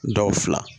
Dɔw fila